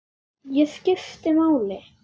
Ég skipti máli.